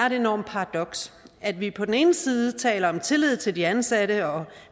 et enormt paradoks at vi på den ene side taler om tillid til de ansatte og